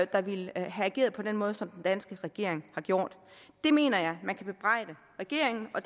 der ville have ageret på den måde som den danske regering har gjort det mener jeg man kan bebrejde regeringen og